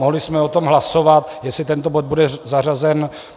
Mohli jsme o tom hlasovat, jestli tento bod bude zařazen.